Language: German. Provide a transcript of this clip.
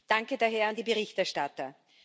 Danke daher an die Berichterstatter!